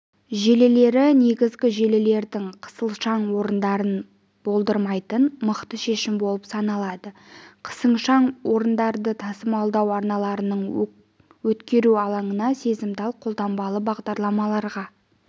желілері негізгі желілердің қысылшаң орындарын болдырмайтын мықты шешім болып саналады қысылшаң орындарын тасымалдау арналарының өткеру алаңына сезімтал қолданбалы бағдарламаларға